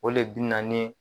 O le bi na ni